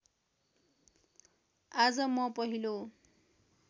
आज म पहिलो